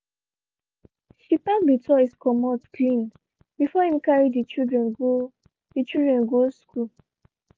she packed de toys commot clean before him carry de children go de children go school.